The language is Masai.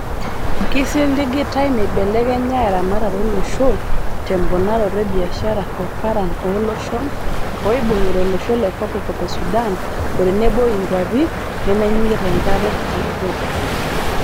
Keisiligitae meibelekenya eramatare olosho temponaroto e biashara o paran oo loshon ooibungita olosho le kopkop e Sudan otenebo inguapii nemenyikita enkare te Ethopia.